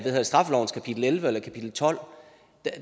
af straffelovens kapitel elleve eller kapitel tolvte